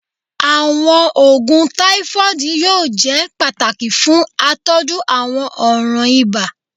Awọn oogun tafoidi yoo jẹ pataki fun atọju awọn ọran iba